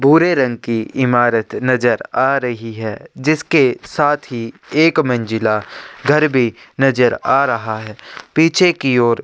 भूरे रंग की इमारत नज़र आ रही है जिसके साथ ही एक मंजिला घर भी नज़र आ रहा है पिछे की ओर --